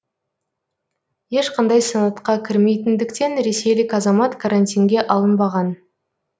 ешқандай санатқа кірмейтіндіктен ресейлік азамат карантинге алынбаған